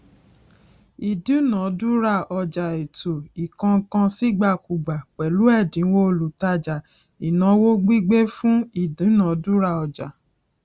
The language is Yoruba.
ìdúnadúrà ọjà ètò ìkónǹkansíìgbàkúgbà pẹlú ẹdínwó olútajà ìnáwó gbígbé fún ìdúnadúrà ọjà